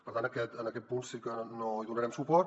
per tant en aquest punt sí que no hi donarem suport